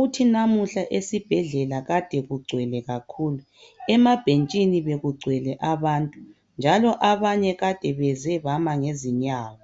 .Uthi namuhla esibhedlela kade kugcwele kakhulu .Emabhentshini bekugcwele. abantu .Njalo abanye kade beze bama ngezinyawo .